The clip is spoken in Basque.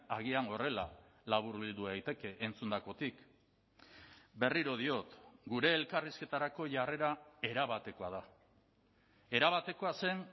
agian horrela laburbildu daiteke entzundakotik berriro diot gure elkarrizketarako jarrera erabatekoa da erabatekoa zen